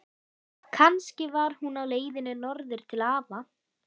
Kannski var hún á leiðinni norður til afa.